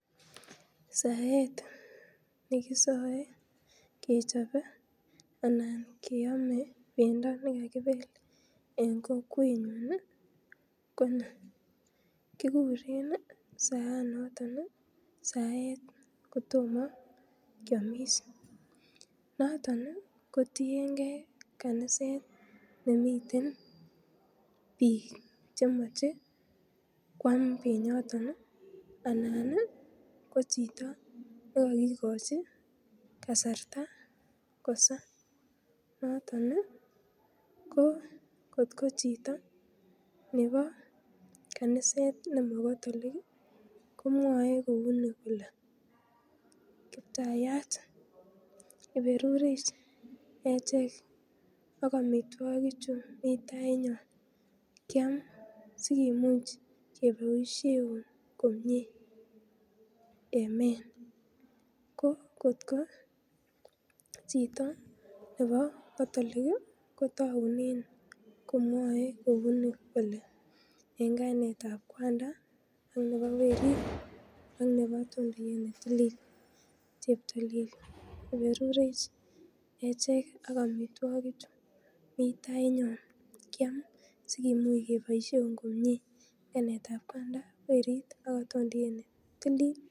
Saet nekisoe kechope anan keame pendo en kokwenyun ii konii, kikuren ii saanot saet kotomo kiamis noton kotiengee kaniset nemiten biik chemoche kwam penyoton ii anan koo chito nekokikochi kasarta kosaa, noton kot ko chito nebo kaniset nemo catholik ii komwoe kouni kole kptayat iberurech achek ak amitwogichu mii tainyon, kyam sikimuch keboisieun komie amen, koo kot koo chito nebo catholic ii kotaunen kouni kole en kainetab kwanda ak nebo werit, ak nebo atondoyet netilil, cheptolel iberurech achek ak amitwogichu mitainyon sikwam sikimuch keboisieun komie en kainetab kwanda, werit, ak atondoiyet netilil.